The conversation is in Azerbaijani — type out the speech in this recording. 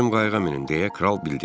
Bizim qayığa minin, deyə kral bildirdi.